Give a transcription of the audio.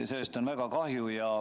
Sellest on väga kahju.